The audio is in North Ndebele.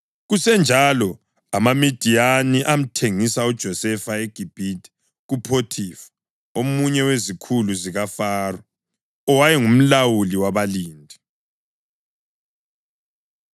Kusenjalo, amaMidiyani amthengisa uJosefa eGibhithe kuPhothifa, omunye wezikhulu zikaFaro, owayengumlawuli wabalindi.